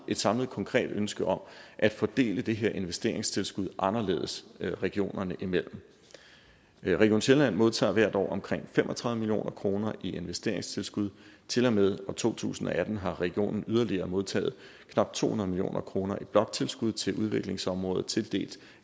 et samlet konkret ønske om at fordele det her investeringstilskud anderledes regionerne imellem region sjælland modtager hvert år omkring fem og tredive million kroner i investeringstilskud til og med år to tusind og atten har regionen yderligere modtaget knap to hundrede million kroner i bloktilskud til udviklingsområdet tildelt